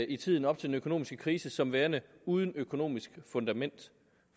i tiden op til den økonomiske krise som værende uden økonomisk fundament